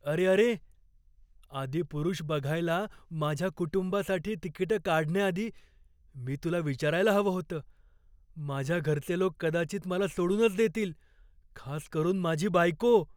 अरे अरे! "आदिपुरुष" बघायला माझ्या कुटुंबासाठी तिकिटं काढण्याआधी मी तुला विचारायला हवं होतं. माझ्या घरचे लोक कदाचित मला सोडूनच देतील, खास करून माझी बायको.